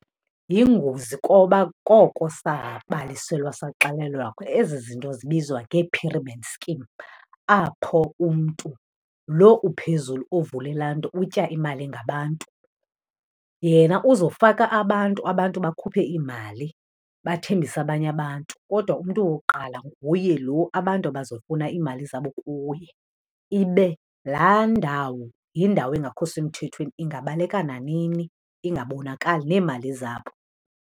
Yingozi koba koko sabaliselwa saxelelwa , ezi zinto zibizwa ngee-pyramid scheme apho umntu lo uphezulu uvule laa nto utya imali ngabantu. Yena uzofaka abantu, abantu bakhuphe iimali bathembise abanye abantu, kodwa umntu wokuqala nguye lo abantu abazofuna iimali zabo kuye, ibe laa ndawo yindawo engakho semthethweni ingabaleka nanini ingabonakali neemali zabo.